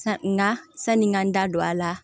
Nka sanni n ka n da don a la